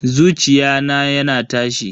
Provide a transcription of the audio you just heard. Zuciya na yana tashi.